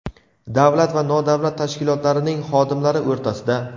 davlat va nodavlat tashkilotlarining xodimlari o‘rtasida).